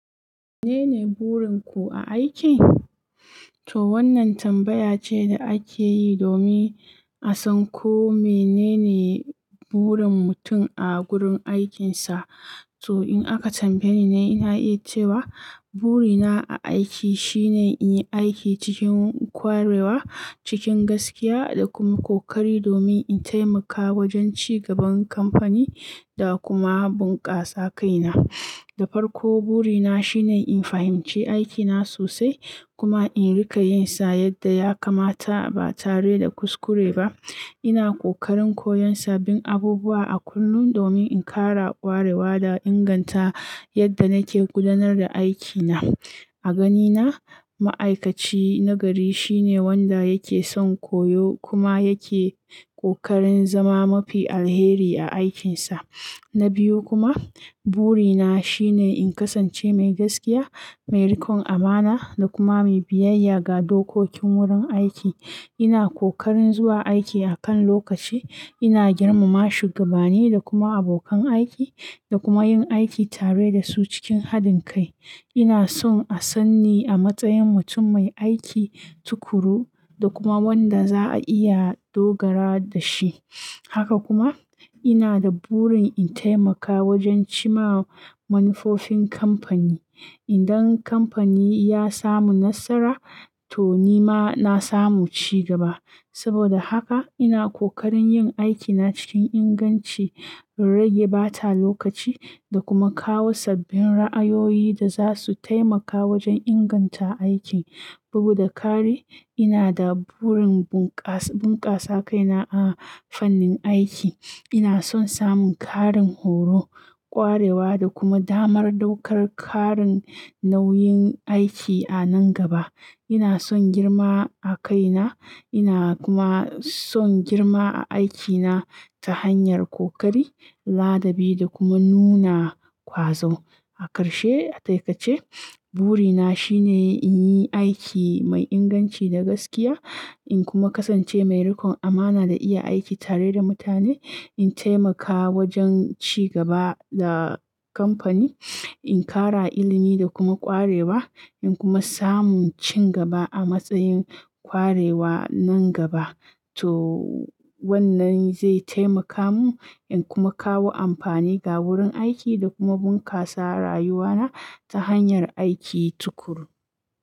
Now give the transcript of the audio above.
"Menene burin ku a aiki?" To wannan tambaya ce da ake yi domin a san ko menene burin mutum a gurin aikinsa. To in aka tambaye ni, na iya cewa burina a aiki shine in yi aiki cikin ƙwarewa, cikin gaskiya da kuma ƙoƙari domin in taimaka wajen ci gaban kamfani da kuma bunƙasa kaina. Da farko, burina shine in fahimci aikina sosai kuma in riƙa yin sa yadda ya kamata ba tare da kuskure ba. Ina ƙoƙarin koyon sabbin abubuwa a kullum domin in ƙara ƙwarewa da inganta yadda nake gudanar da aikina. A ganina, ma'aikaci nagari shine wanda yake son koyo kuma yake ƙoƙarin zama mafi alheri a aikinsa. Na biyu kuma, burina shine in kasance mai gaskiya, mai rikon amana da kuma mai biyayya ga dokokin wurin aiki. Ina ƙoƙarin zuwa aiki akan lokaci, ina girmama shugabani da kuma abokan aiki da kuma yin aiki tare da su cikin hadin kai. Ina son a sanni a matsayin mutum mai aiki tukuru da kuma wanda za a iya dogara da shi. Haka kuma, ina da burin in taimaka wajen cimma manufofin kamfani. Idan kamfani ya samu nasara, to ni ma na samu ci gaba. Saboda haka ina kokarin yin aiki na cikin inganci in rage bata lokaci da kuma kawo sabbin ra'ayoyi da zasu taimaka wajen inganta aikin. Bugu da ƙari, ina da burin bunƙasa kaina a fannin aiki. Ina son samun ƙarin horo, ƙwarewa da kuma damar ɗaukar ƙarin nauyin aiki a nan gaba. Ina son girma a kaina, ina kuma son girma a aikina ta hanyar ƙoƙari, ladabi da kuma nuna ƙwazo. A ƙarshe, a takaice, burina shine in yi aiki mai inganci da gaskiya, in kuma kasance mai rikon amana da iya aiki tare da mutane. In taimaka wajen ci gaba da kamfani, in ƙara ilimi da kuma ƙwarewa, in kuma samu ci gaba a matsayin ƙwarewa nan gaba. To wannan zai taimaka mu in kuma kawo amfani ga wurin aiki da kuma bunƙasa rayuwana ta hanyar aiki tukuru.